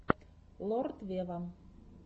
лорд вево